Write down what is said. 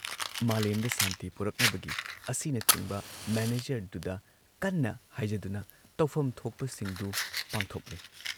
ꯃꯥꯂꯦꯝꯗ ꯁꯥꯟꯇꯤ ꯄꯨꯔꯛꯅꯕꯒꯤ ꯑꯁꯤꯅꯆꯤꯡꯕ ꯃꯦꯅꯦꯖꯔꯗꯨꯗ ꯀꯟꯅ ꯍꯥꯏꯖꯗꯨꯅ ꯇꯧꯐꯝ ꯊꯣꯛꯄꯁꯤꯡꯗꯨ ꯄꯥꯡꯊꯣꯛꯂꯦ